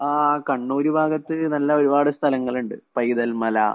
ആ കണ്ണൂര് ഭാഗത്ത് നല്ല ഒരുപാട് സ്ഥലങ്ങള്‍ ഉണ്ട്.പൈതല്‍ മല,